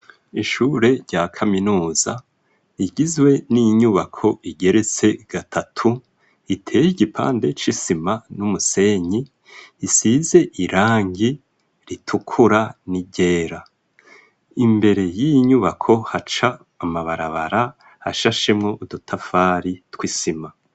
Ishure rya kaminuza igizwe n'inyubako igeretse gatatu iteye igipande c'isima n'umusenyi isize irangi ritukura n'igera imbere y'inyubako haca amabarabara hashashemo udutafari tw'isima.